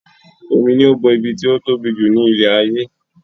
Omi ló bo ibi tí ó tóbi jù ní ilẹ̀ ayé